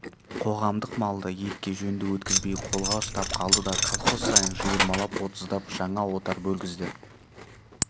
қоғамдық малды етке жөнді өткізбей қолға ұстап қалды да колхоз сайын жиырмалап отыздап жаңа отар бөлгізді